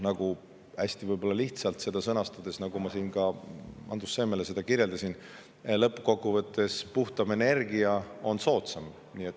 Hästi lihtsalt seda sõnastades, nagu ma enne Andrus Seemele kirjeldasin, lõppkokkuvõttes puhtam energia on soodsam.